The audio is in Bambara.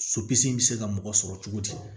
Sopisi bɛ se ka mɔgɔ sɔrɔ cogo di